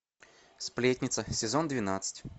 сплетница сезон двенадцать